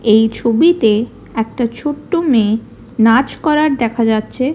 এই ছবিতে একটা ছোট্ট মেয়ে নাচ করার দেখা যাচ্ছে।